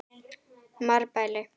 Marbæli